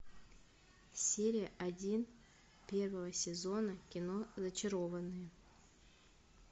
серия один первого сезона кино зачарованные